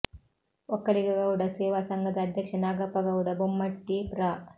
ಒಕ್ಕಲಿಗ ಗೌಡ ಸೇವಾ ಸಂಘದ ಅಧ್ಯಕ್ಷ ನಾಗಪ್ಪ ಗೌಡ ಬೊಮ್ಮೆಟ್ಟಿ ಪ್ರ